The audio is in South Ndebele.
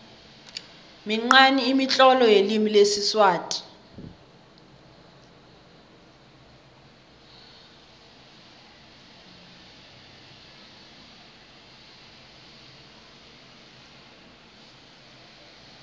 minqani imitlolo yelimi lesiswati